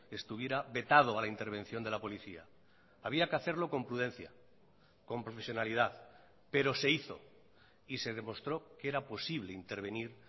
estuviera vetado a la intervención de la policía había que hacerlo con prudencia con profesionalidad pero se hizo y se demostró que era posible intervenir